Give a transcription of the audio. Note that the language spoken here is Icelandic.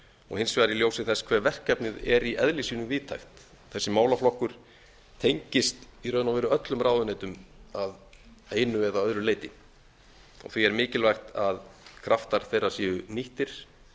og hins vegar í ljósi þess hve verkefnið er í eðli sínu víðtækt þessi málaflokkur tengist í raun og veru öllum ráðuneytum að einu eða öðru leyti því er mikilvægt að kraftar þeirra séu nýttir